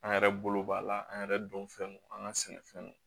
An yɛrɛ bolo b'a la an yɛrɛ don fɛn don an ka sɛnɛfɛnw